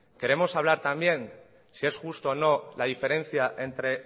queremos hablar también si es justo o no la diferencia entre